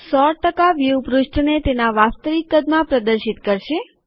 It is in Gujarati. ૧૦૦ વ્યુ પૃષ્ઠને તેના વાસ્તવિક કદમાં પ્રદર્શિત કરશે